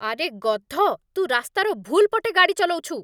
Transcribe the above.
ଆରେ, ଗଧ । ତୁ ରାସ୍ତାର ଭୁଲ୍ ପଟେ ଗାଡ଼ି ଚଲଉଛୁ ।